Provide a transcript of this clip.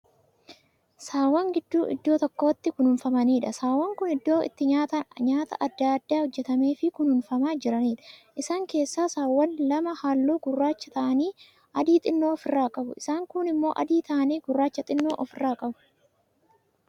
Saawwan gidduu iddoo tokkotti kunuunfamaniidha. saawwan Kuni iddoon itti nyaatan adda addaan hojjatameefii kan kunuunfamaa jiraniidha. isaan keessaa saaawwan lama halluu gurraacha ta'anii adii xinnoo ofirraa qabu. isaan kuun immoo adii ta'anii gurraacha xinnoo ofirraa qabu.